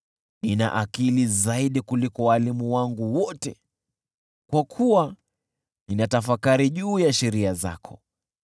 Nina akili zaidi kuliko walimu wangu wote, kwa kuwa ninatafakari juu ya sheria zako.